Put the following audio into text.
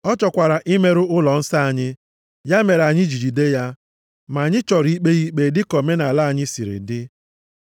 Ọ chọkwara imerụ ụlọnsọ anyị, ya mere anyị ji jide ya. Ma anyị chọrọ ikpe ya ikpe dịka omenaala anyị siri dị,